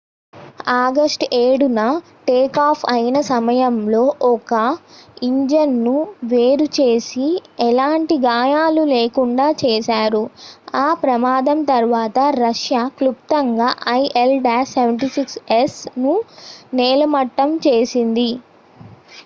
October 7న takeoff అయిన సమయంలో ఒక ఇంజిన్ ను వేరు చేసి ఎలాంటి గాయాలు లేకుండా చేశారు ఆ ప్రమాదం తర్వాత రష్యా క్లుప్తంగా il-76s ను నేలమట్టం చేసింది